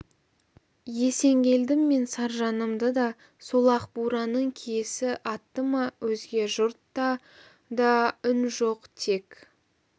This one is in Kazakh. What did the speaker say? есенгелдім мен саржанымды да сол ақ бураның киесі атты ма өзге жұртта да үн жоқ тек